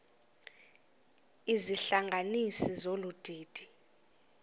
izihlanganisi zolu didi